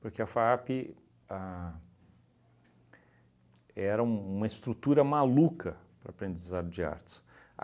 porque a FAAP a era um uma estrutura maluca para o aprendizado de artes.